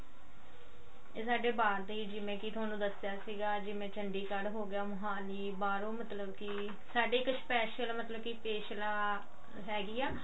ਸਾਡੇ ਬਾਹਰ ਦੇ ਹੀ ਜਿਵੇਂ ਕੀ ਥੋਨੂੰ ਦੱਸਿਆ ਸੀਗਾ ਜਿਵੇਂ ਚੰਡੀਗੜ ਹੋਗੀਆ ਮੋਹਾਲੀ ਬਾਹਰੋਂ ਮਤਲਬ ਕੀ ਸਾਡੇ ਇੱਕ special ਮਤਲਬ ਕੀ ਪਿੱਛਲਾ ਹੈਗੀ ਆ